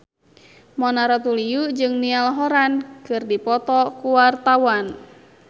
Mona Ratuliu jeung Niall Horran keur dipoto ku wartawan